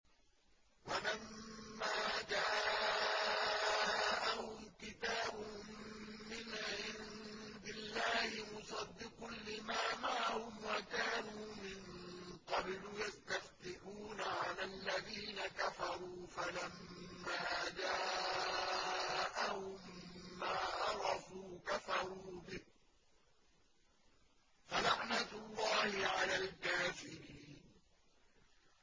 وَلَمَّا جَاءَهُمْ كِتَابٌ مِّنْ عِندِ اللَّهِ مُصَدِّقٌ لِّمَا مَعَهُمْ وَكَانُوا مِن قَبْلُ يَسْتَفْتِحُونَ عَلَى الَّذِينَ كَفَرُوا فَلَمَّا جَاءَهُم مَّا عَرَفُوا كَفَرُوا بِهِ ۚ فَلَعْنَةُ اللَّهِ عَلَى الْكَافِرِينَ